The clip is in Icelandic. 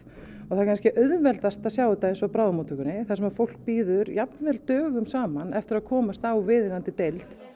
það er kannski auðveldast að sjá þetta eins og á bráðamóttökunni þar sem fólk bíður jafnvel dögum saman eftir því að komast á viðeigandi deild